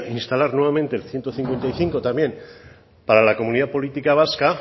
instalar nuevamente el ciento cincuenta y cinco también para la comunidad política vasca